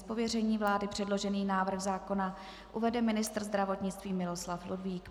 Z pověření vlády předložený návrh zákona uvede ministr zdravotnictví Miloslav Ludvík.